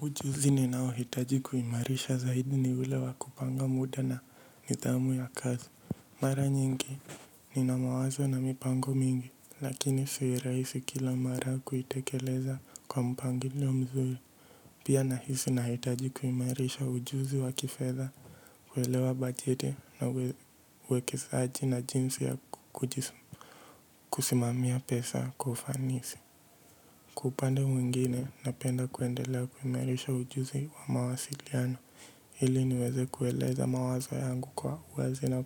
Ujuzi ninaohitaji kuimarisha zaidi ni ule wa kupanga muda na nidhamu ya kazi. Mara nyingi nina mawazo na mipango mingi, lakini si rahisi kila mara kuitekeleza kwa mpangilio mzuri. Pia nahisi nahitaji kuimarisha ujuzi wa kifedha, kuelewa bajeti na uwekezaji na jinsi ya kusimamia pesa kwa ufanisi. Kwa upande mwingine napenda kuendelea kuimarisha ujuzi wa mawasiliano ili niweze kueleza mawazo yangu kwa wazi na